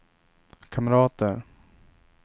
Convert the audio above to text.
kamrater